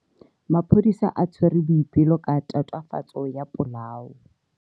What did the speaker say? Maphodisa a tshwere Boipelo ka tatofatso ya polao.